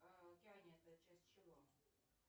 океания это часть чего